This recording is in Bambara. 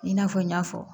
I n'a fɔ n y'a fɔ